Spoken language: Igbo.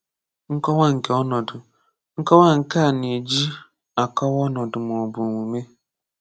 Nkọwa nke Ọnọdụ Nkọwa Nke a na-eji akọwaa ọnọdụ ma ọ bụ omume.